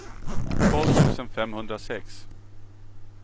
tolv tusen femhundrasex